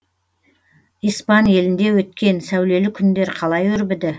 испан елінде өткен сәулелі күндер қалай өрбіді